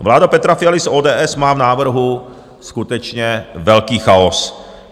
Vláda Petra Fialy z ODS má v návrhu skutečně velký chaos.